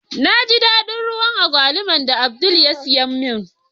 Na ji dadin ruwan Agwaluman da Abdul ya siya min.